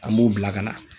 An b'o bila ka na